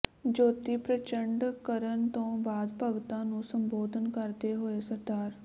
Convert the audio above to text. ਜੋਤੀ ਪ੍ਰਚੰਡ ਕਰਨ ਤੋਂ ਬਾਅਦ ਭਗਤਾਂ ਨੂੰ ਸੰਬੋਧਨ ਕਰਦੇ ਹੋਏ ਸ